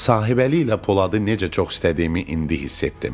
Sahibəli ilə Poladı necə çox istədiyimi indi hiss etdim.